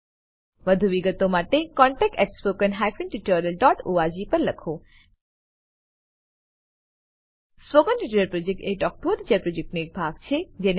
વધુ વિગતો માટે કૃપા કરી contactspoken tutorialorg પર લખો spoken tutorial project talk to a teacher પ્રોજેક્ટનો એક ભાગ છે